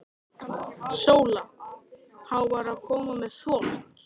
SÓLA: Hann var að koma með þvott.